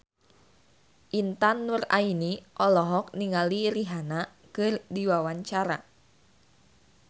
Intan Nuraini olohok ningali Rihanna keur diwawancara